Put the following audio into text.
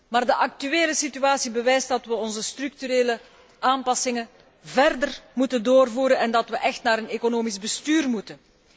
Maar de actuele situatie bewijst dat we de structurele aanpassingen verder moeten doorvoeren en dat we echt naar een economisch bestuur toe moeten.